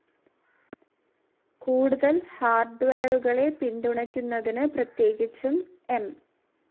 കൂടുതൽ ഹാർഡ്വെയറുകളെ പിന്തുണക്കുന്നതിന്, പ്രത്യേകിച്ചും ഐ.